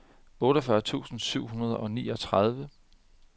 otteogfyrre tusind syv hundrede og niogtredive